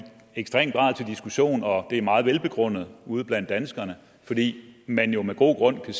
ekstrem grad til diskussion og det er meget velbegrundet ude blandt danskere fordi man jo med god grund kan